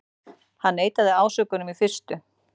Hann neitaði ásökunum í fyrstu